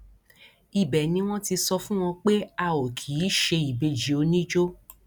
ibẹ ni wọn ti sọ fún wọn pé a ò kì í ṣe ìbejì oníjó